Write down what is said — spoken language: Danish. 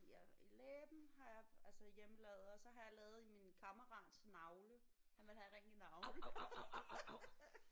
Ja i læben har jeg altså hjemmelavet og så har jeg lavet i min kammerats navle. Han ville have en ring i navlen